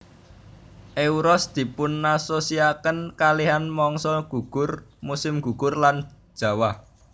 Euros dipunasosiasiaken kalihan mangsa gugur musim gugur lan jawah